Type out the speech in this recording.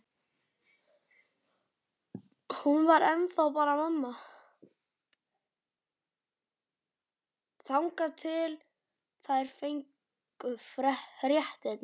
Hún var ennþá bara mamma, þangað til þær fengju fréttirnar.